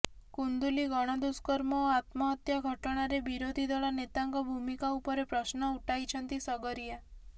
କୁନ୍ଦୁଲି ଗଣଦୁଷ୍କର୍ମ ଓ ଆତ୍ମହତ୍ୟା ଘଟଣାରେ ବିରୋଧୀ ଦଳ ନେତାଙ୍କ ଭୂମିକା ଉପରେ ପ୍ରଶ୍ନ ଉଠାଇଛନ୍ତି ସଗରିଆ